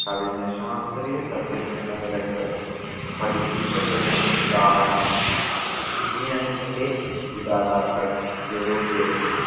കവിഞ്ഞ ശാസ്ത്രീയ സത്യം എന്ന നിലക്ക് പഠിപ്പിക്കപ്പെടുന്നത് ഉദാഹരണം വിജ്ഞാനത്തിന്റെ ഇദാതാക്കൾ യൂറോപ്യരും